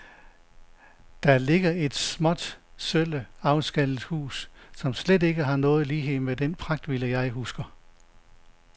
Der ligger et småt, sølle, afskallet hus, som slet ikke har nogen lighed med den pragtvilla, jeg husker.